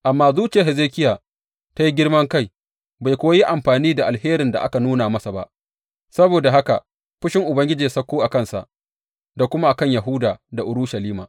Amma zuciyar Hezekiya ta yi girman kai, bai kuwa yi amfani da alherin da aka nuna masa ba, saboda haka fushin Ubangiji ya sauko a kansa da kuma a kan Yahuda da Urushalima.